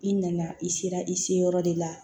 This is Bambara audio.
I nana i sera i se yɔrɔ de la